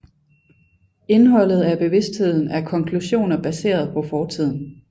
Indholdet af bevidstheden er konklusioner baseret på fortiden